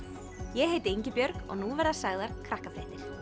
ég heiti Ingibjörg og nú verða sagðar Krakkafréttir